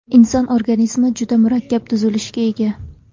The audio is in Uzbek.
Inson organizmi juda murakkab tuzilishga ega.